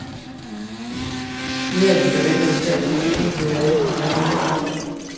Flere af de forventede stats- og regeringsledere ankom allerede i går.